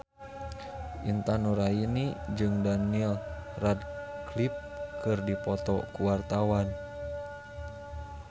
Intan Nuraini jeung Daniel Radcliffe keur dipoto ku wartawan